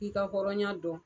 I ka hɔrɔnya dɔn.